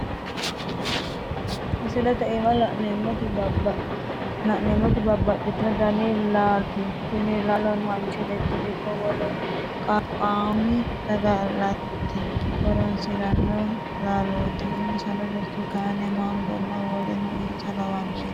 Misilete aanna la'neemoti babbaxitino danni laalooti tini laalono manchi beeti ikko wolu qallaqami saga'late horoosiranno laalooti. insano burtukaane, maangonna woleno insa lawanoreeti.